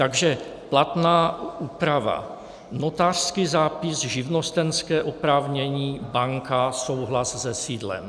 Takže platná úprava: Notářský zápis, živnostenské oprávnění, banka, souhlas se sídlem.